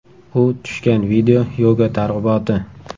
U tushgan video yoga targ‘iboti.